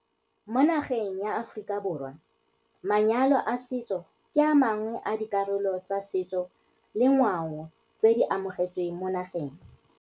Mo nageng ya Aforika Borwa manyalo a setso ke amangwe a dikarolo tsa setso le ngwao tse di amogetsweng mo nageng.